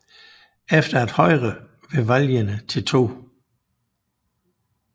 Efter at Højre ved valgene til 2